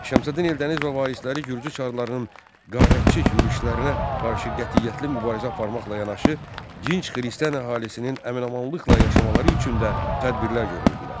Şəmsəddin Eldəniz və varisləri Gürcü çarlarının qarətçilik yürüşlərinə qarşı qətiyyətli mübarizə aparmaqla yanaşı, dinç xristian əhalisinin əmin-amanlıqla yaşamaları üçün də tədbirlər görürdülər.